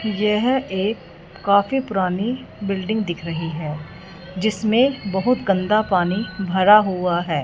यह एक काफी पुरानी बिल्डिंग दिख रही है जिसमे बहुत गंदा पानी भरा हुआ है।